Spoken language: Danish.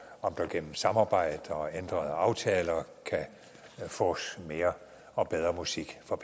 om der gennem samarbejde og ændrede aftaler kan fås mere og bedre musik for